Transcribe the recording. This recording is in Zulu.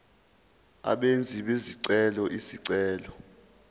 abenzi bezicelo izicelo